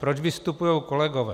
Proč vystupují kolegové?